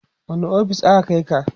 wani ofis aka Kai ka?